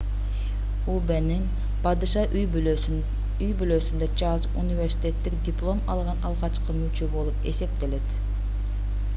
убнын падыша үй-бүлөсүндө чарльз университеттик диплом алган алгачкы мүчө болуп эсептелет